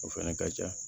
O fɛnɛ ka ca